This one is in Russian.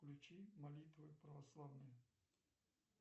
включи молитвы православные